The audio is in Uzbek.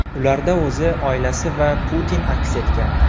Ularda o‘zi, oilasi va Putin aks etgan.